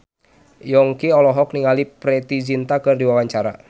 Yongki olohok ningali Preity Zinta keur diwawancara